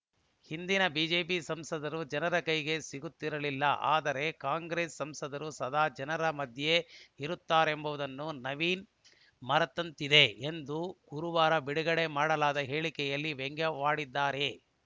ಹಿಂದಿನ ಬಿಜೆಪಿ ಸಂಸದರು ಜನರ ಕೈಗೆ ಸಿಗುತ್ತಿರಲಿಲ್ಲ ಆದರೆ ಕಾಂಗ್ರೆಸ್‌ ಸಂಸದರು ಸದಾ ಜನರ ಮಧ್ಯೆ ಇರುತ್ತಾರೆಂಬುದನ್ನು ನವೀನ್‌ ಮರೆತಂತಿದೆ ಎಂದು ಗುರುವಾರ ಬಿಡುಗಡೆ ಮಾಡಲಾದ ಹೇಳಿಕೆಯಲ್ಲಿ ವ್ಯಂಗ್ಯವಾಡಿದ್ದಾರೆ